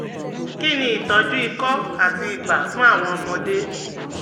Kí ni ìtọ́jú ikọ́ àti ibà fún àwọn ọmọdé?